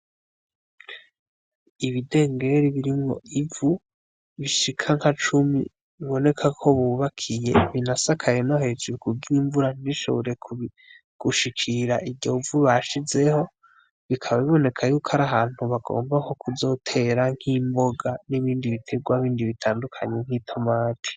Ibidengeri birimwo ivu bishika nka cumi biboneka ko bubakiye binasakaye no hejuru kugira imvura ntishobore gushikira iryo vu bashizeho bikaba biboneka y'uko ari ahantu bagomba nko kuzotera nk'imboga nibindi bitegwa bindi bitandukanye nk'itomati